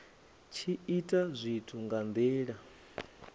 tshi ita zwithu nga nila